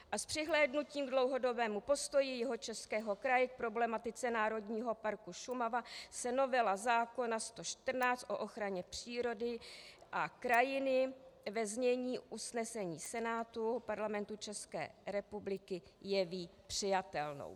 A s přihlédnutím k dlouhodobému postoji Jihočeského kraje k problematice Národního parku Šumava se novela zákona č. 114 o ochraně přírody a krajiny ve znění usnesení Senátu Parlamentu České republiky jeví přijatelnou.